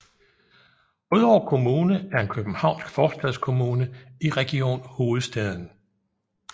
Rødovre Kommune er en københavnsk forstadskommune i Region Hovedstaden